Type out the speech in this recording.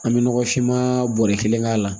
An bɛ nɔgɔfinma bɔrɔ kelen k'a la